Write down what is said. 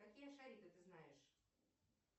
какие шарики ты знаешь